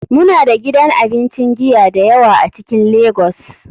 Muna da gidan abincin giya da yawa a cikin lagos.